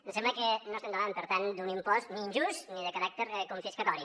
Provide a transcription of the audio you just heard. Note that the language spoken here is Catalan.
em sembla que no estem davant per tant d’un impost ni injust ni de caràcter confiscatori